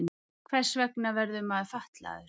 Hvers vegna verður maður fatlaður?